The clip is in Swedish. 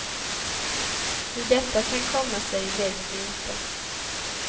Hur detta kan komma sig vet vi inte.